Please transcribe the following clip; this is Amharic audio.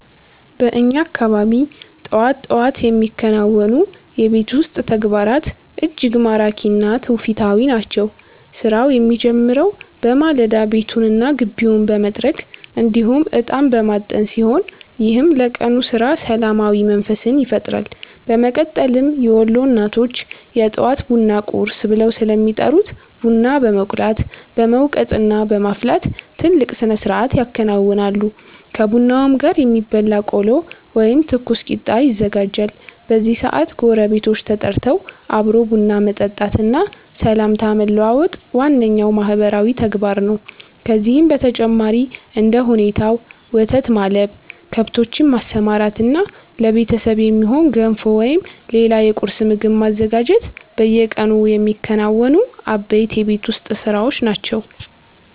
በእኛ አካባቢ ጠዋት ጠዋት የሚከናወኑ የቤት ውስጥ ተግባራት እጅግ ማራኪ እና ትውፊታዊ ናቸው። ስራው የሚጀምረው በማለዳ ቤቱንና ግቢውን በመጥረግ እንዲሁም እጣን በማጠን ሲሆን፣ ይህም ለቀኑ ስራ ሰላማዊ መንፈስን ይፈጥራል። በመቀጠልም የወሎ እናቶች የጠዋት ቡናን 'ቁርስ' ብለው ስለሚጠሩት ቡና በመቁላት፣ በመውቀጥና በማፍላት ትልቅ ስነስርዓት ያከናውናሉ። ከቡናውም ጋር የሚበላ ቆሎ ወይም ትኩስ ቂጣ ይዘጋጃል። በዚህ ሰዓት ጎረቤቶች ተጠርተው አብሮ ቡና መጠጣትና ሰላምታ መለዋወጥ ዋነኛው ማህበራዊ ተግባር ነው። ከዚህም በተጨማሪ እንደ ሁኔታው ወተት ማለብ፣ ከብቶችን ማሰማራትና ለቤተሰብ የሚሆን ገንፎ ወይም ሌላ የቁርስ ምግብ ማዘጋጀት በየቀኑ የሚከናወኑ አበይት የቤት ውስጥ ስራዎች ናቸው።